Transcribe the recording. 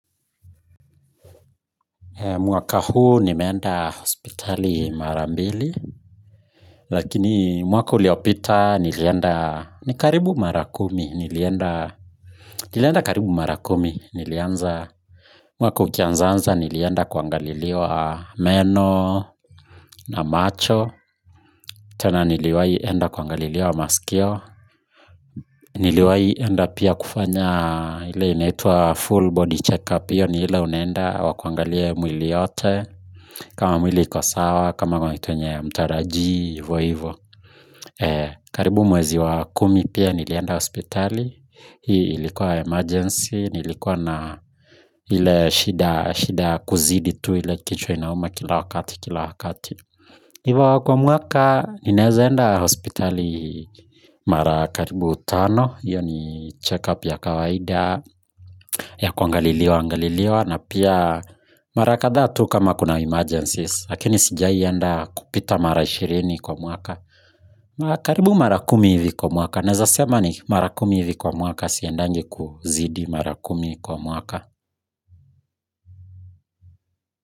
Mwaka huu nimeenda hospitali mara mbili, lakini mwaka uliopita nilienda ni karibu mara kumi nilienda, nilienda karibu mara kumi nilianza mwaka ukianzanza nilienda kuangaliliwa meno na macho, tena niliwai enda kuangaliliwa masikio, niliwai enda pia kufanya ile inaitwa full body check up hio ni ile unaenda wa kuangalie mwili yote kama mwili iko sawa, kama kuna kitu yenye hamtaraji, ivo ivo karibu mwezi wa kumi pia nilienda hospitali ilikuwa emergency, nilikuwa na ile shida ya kuzidi tu ile kichwa inauma kila wakati kila wakati, ivo kwa mwaka, ninaezaenda hospitali mara karibu tano hio ni check up ya kawaida ya kuangaliliwa, angaliliwa na pia mara kadha tu kama kuna emergencies, lakini sijai enda kupita mara ishirini kwa mwaka, mara karibu mara kumi hivi kwa mwaka naeza sema ni mara kumi hivi kwa mwaka siendagi kuzidi mara kumi kwa mwaka.